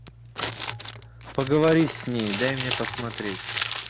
поговори с ней дай мне посмотреть